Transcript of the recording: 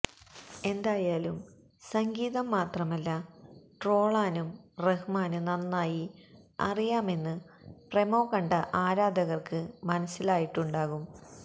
എന്തായാലും സംഗീതം മാത്രമല്ല ട്രോളാനും റഹ്മാന് നന്നായി അറിയാമെന്ന് പ്രൊമോ കണ്ട ആരാധകര്ക്ക് മനസിലായിട്ടുണ്ടാകും